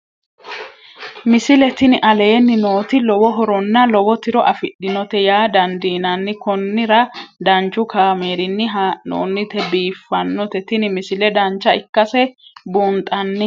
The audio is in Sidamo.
misile tini aleenni nooti lowo horonna lowo tiro afidhinote yaa dandiinanni konnira danchu kaameerinni haa'noonnite biiffannote tini misile dancha ikkase buunxanni